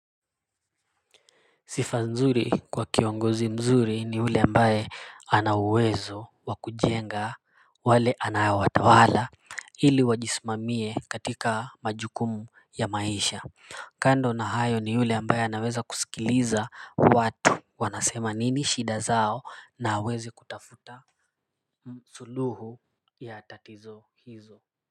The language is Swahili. Sifa nzuri kwa kiongozi mzuri ni ule ambaye ana uwezo wa kujenga wale anawatawala ili wajisimamie katika majukumu ya maisha kando na hayo ni ule ambaye anaweza kusikiliza watu wanasema nini shida zao na aweze kutafuta suluhu ya tatizo hizo.